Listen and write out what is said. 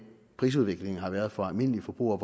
prisudviklingen har været for almindelige forbrugere